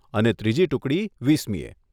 અને ત્રીજી ટુકડી વીસમીએ.